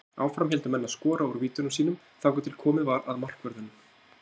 Áfram héldu menn að skora úr vítunum sínum þangað til komið var að markvörðunum.